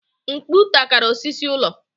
Mkpu takara osisi ụlọ.